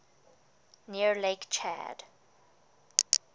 near lake chad